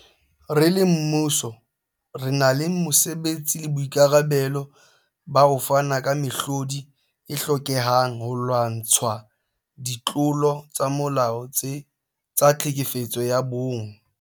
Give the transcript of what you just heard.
Re le mmuso, re na le mosebetsi le boikarabelo ba ho fana ka mehlodi e hlokehang holwantshwa ditlolo tsa molao tsa tlhekefetso ya bong.